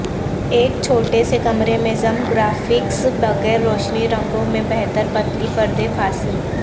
ایک چھوٹے سے کمرے میں ضم گرافکس بغیر روشنی رنگوں میں بہتر پتلی پردے پھانسی